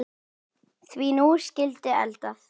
Því nú skyldi eldað.